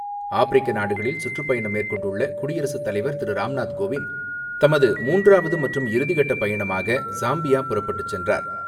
ஆப்பிரிக்க நாடுகளில் சுற்றுப்பயணம் மேற்கொண்டுள்ள குடியரசுத்தலைவர் திரு ராம்நாத் கோவிந்த் தமது மூன்றாவது மற்றும் இறுதிக்கட்ட பயணமாக சாம்பியா புறப்பட்டுச்சென்றார்.